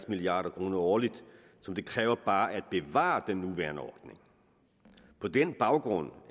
milliard kroner årligt som det kræver bare at bevare den nuværende ordning på den baggrund